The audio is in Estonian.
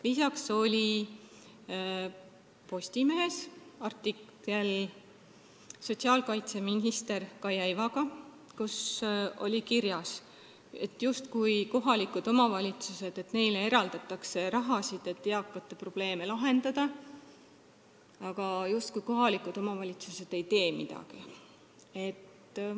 Lisaks oli Postimehes intervjuu sotsiaalkaitseminister Kaia Ivaga, kus oli kirjas, justkui kohalikele omavalitsustele eraldataks raha, et eakate probleeme lahendada, aga kohalikud omavalitsused nagu ei teeks midagi.